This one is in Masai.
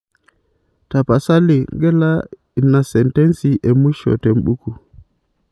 tapasali gila inasentensi emwisho te buku